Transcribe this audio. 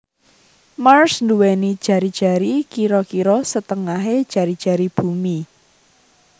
Mars nduwèni jari jari kira kira setengahé jari jari Bumi